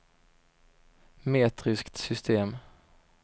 metriskt system